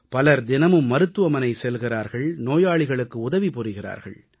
பலர் தினமும் மருத்துவமனை செல்கிறார்கள் நோயாளிகளுக்கு உதவி புரிகிறார்கள்